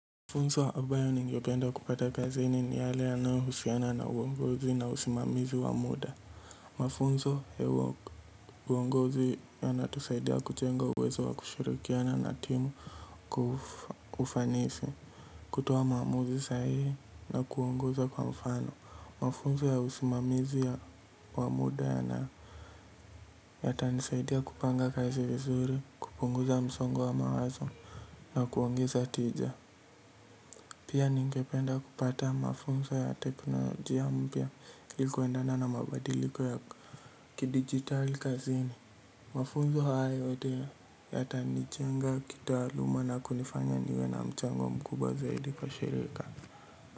Mafunzo ambayo ningependa kupata kazi ni ni hale yanayohusiana na uongozi na usimamizi wa muda. Mafunzo ya uongozi yana tusaidia kujenga uwezo wa kushirikiana na timu kwa ufanisi kutoa maamuzi sahi na kuongoza kwa mfano. Mafunzo ya usimamizi wa muda ya naa yata nisaidia kupanga kazi vizuri, kupunguza msongo wa mawazo na kuongeza tija. Pia ningependa kupata mafunzo ya teknolojia mpya ilikuendana na mabadiliko ya kidijitali kazini. Mafunzo hayo yote yatanijenga kitaluma nakunifanya niwe na mchango mkubwa zaidi kwa shirika.